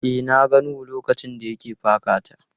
E, na ga Nuhu lokacin da ya ke paka ta.